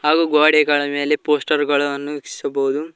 ಹಾಗೂ ಗೋಡೆಗಳ ಮೇಲೆ ಪೋಸ್ಟರ್ ಗಳನ್ನು ಕ್ಷಿಸಬಹುದು.